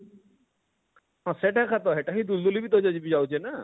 ହଁ ସେଟା କାତ ହେଟା ହିଁ ଦୁଲଦୁଲି ବି ଆଉଛେ ନା?